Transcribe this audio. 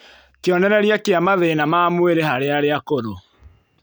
Kĩonerereria kĩa mathĩna ma mwĩrĩ harĩ arĩa akũrũ